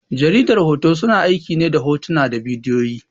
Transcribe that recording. Jaridar hoto, suna aiki ne hotuna da bidiyoyi.